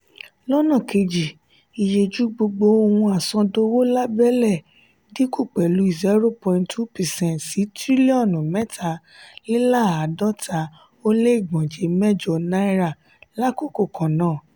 lọnà keji iyeju gbogbo ohun asodowo lábélé dínkù pẹlu zero point two percent sí tiriliọnu mẹta-le-laadota o le igbọnjẹ mẹjọ náírà l'akoko kannáà.